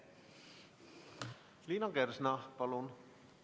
Liina Kersna, palun!